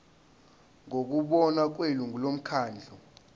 ngokubona kwelungu lomkhandlu